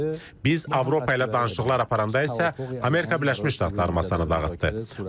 Biz Avropa ilə danışıqlar aparanda isə Amerika Birləşmiş Ştatları masanı dağıtdı.